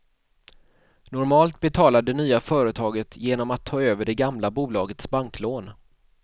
Normalt betalar det nya företaget genom att ta över det gamla bolagets banklån.